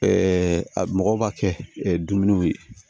mɔgɔw b'a kɛ dumuniw ye